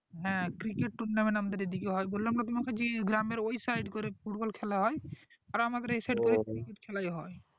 হ্যাঁ cricket tournament আমাদের এদিকে হয় বললাম না তোমাকে জি গ্রামের ওই side করে football খেলা হয় আর আমাদের এই side cricket খেলায় হয়।